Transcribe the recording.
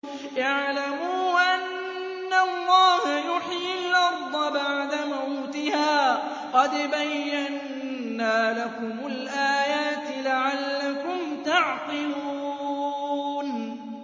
اعْلَمُوا أَنَّ اللَّهَ يُحْيِي الْأَرْضَ بَعْدَ مَوْتِهَا ۚ قَدْ بَيَّنَّا لَكُمُ الْآيَاتِ لَعَلَّكُمْ تَعْقِلُونَ